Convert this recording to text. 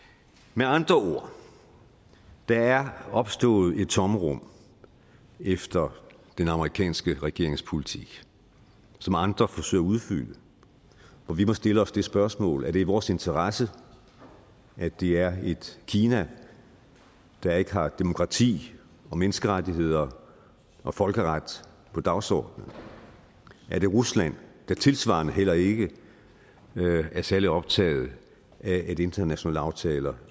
med andre ord der er opstået et tomrum efter den amerikanske regerings politik som andre forsøger at udfylde og vi vil stille os det spørgsmål er det i vores interesse at det er et kina der ikke har demokrati og menneskerettigheder og folkeret på dagsordenen er det rusland der tilsvarende heller ikke er særlig optaget af at internationale aftaler